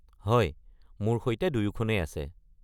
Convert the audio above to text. হয়, মোৰ সৈতে দুয়োখনেই আছে।